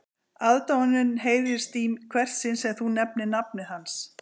Aðdáunin heyrist í hvert sinn sem þú nefnir nafnið hans